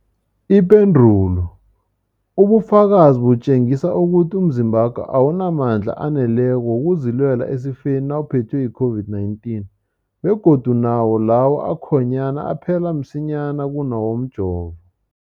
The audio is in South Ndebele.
Ipendulo, ubufakazi butjengisa ukuthi umzimbakho awunamandla aneleko wokuzilwela esifeni nawuphethwe yi-COVID-19, begodu nawo lawo akhonyana aphela msinyana kunawomjovo.